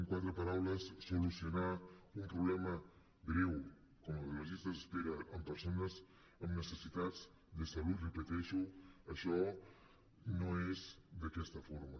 quatre paraules solucionar un problema greu com el de les llistes d’espera en persones amb necessitats de salut ho repeteixo això no és d’aquesta forma